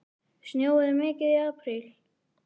Snjóaði mikið í apríl?